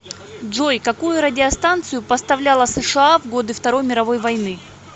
джой какую радиостанцию поставляла сша в годы второй мировой войны